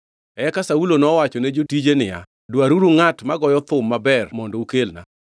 Eka Saulo nowachone jotije niya, “Dwaruru ngʼat magoyo thum maber mondo ukelna.”